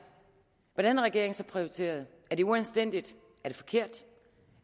hvordan har regeringen så prioriteret er det uanstændigt er det forkert